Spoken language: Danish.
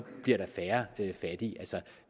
bliver der færre fattige